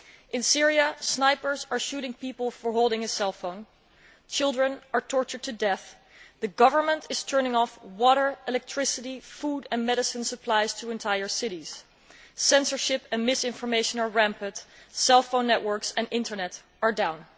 In Syria, snipers are shooting people for holding a cell phone, children are tortured to death, the Government is turning off water, electricity, food and medicine supplies to entire cities, censorship and misinformation are rampant, and cell phone networks and Internet are down.